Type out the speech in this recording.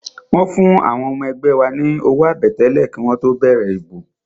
Wọ́n fún àwọn ọmọ ẹgbẹ́ wa ní owó àbẹ̀tẹ́lẹ̀ kí wọ́n tó bẹ̀rẹ̀ ìbò